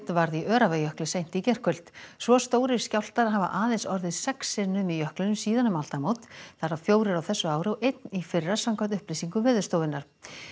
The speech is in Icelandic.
varð í Öræfajökli seint í gærkvöld svo stórir skjálftar hafa aðeins orðið sex sinnum í jöklinum síðan um aldamót þar af fjórir á þessu ári og einn í fyrra samkvæmt upplýsingum Veðurstofunnar